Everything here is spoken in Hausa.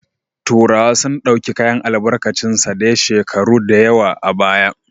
Turawa sun dauki kayan albarkicin sa daya shekuru dayawa a baya